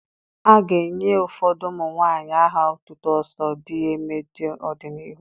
A ga-enye ụfọdụ ụmụ nwanyị aha otutu 'Oso di eeme' n'ọdịnihu.